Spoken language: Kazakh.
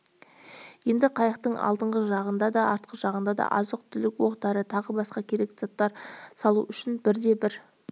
енді қайықтың алдыңғы жағына да артқы жағына да азық-түлік оқ-дәрі тағы басқа керекті заттар салу үшін бір-бірден